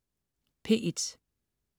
P1: